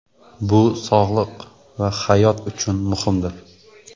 Bu sog‘liq va hayot uchun muhimdir!